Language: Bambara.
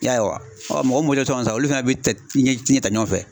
I y'a ye wa? Ɔ mɔgɔ olu fɛnɛ bɛ tɛ tin ji ta ɲɔgɔn fɛ.